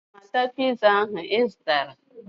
Aga m ata piza ahụ ị zụtara